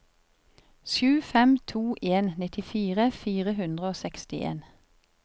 sju fem to en nittifire fire hundre og sekstien